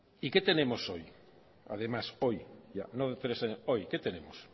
y qué tenemos hoy además hoy no tres años hoy qué tenemos